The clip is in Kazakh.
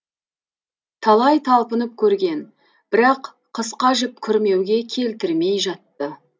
талай талпынып көрген бірақ қысқа жіп күрмеуге келтірмей жатты